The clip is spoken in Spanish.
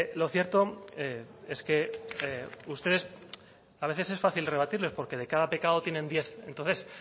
lo cierto es que ustedes a veces es fácil rebatirles porque de cada pecado tienen diez entonces